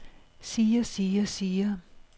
siger siger siger